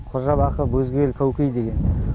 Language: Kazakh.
қожабақы бөзгел кәукей деген